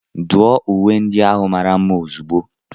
Duọ uwe ndị ahụ mara mma ozugbo!